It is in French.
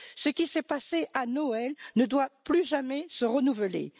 Ce qui s'est passé à Noël ne doit plus jamais se renouveler.